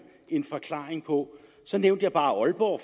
en forklaring på så nævnte jeg bare aalborg